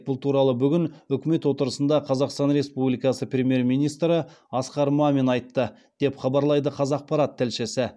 бұл туралы бүгін үкімет отырысында қазақстан республикасы премьер министрі асқар мамин айтты деп хабарлайды қазақпарат тілшісі